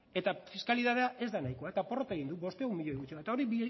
eta fiskalitatea ez da nahiko eta porrota egin du bostehun miloi gutxiago eta hori